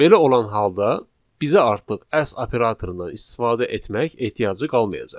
Belə olan halda bizə artıq as operatorundan istifadə etmək ehtiyacı qalmayacaq.